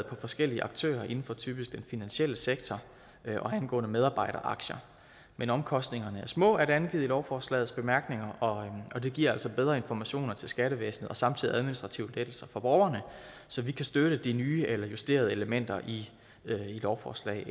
på forskellige aktører inden for typisk den finansielle sektor og angående medarbejderaktier men omkostningerne er små er det angivet i lovforslagets bemærkninger og det giver altså bedre informationer til skattevæsenet og samtidig administrative lettelser for borgerne så vi kan støtte de nye eller justerede elementer i lovforslag